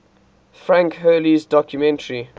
frank hurley's documentary